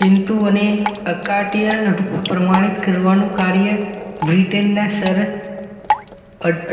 કીનટુ અને અકાટીય પ્રમાણિત કરવાનું કાર્ય ર્બ્રિટેનનાસર